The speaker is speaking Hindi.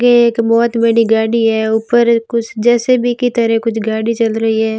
ये एक बहोत बड़ी गाड़ी है ऊपर कुछ जे_सी_बी की तरह कुछ गाड़ी चल रही है।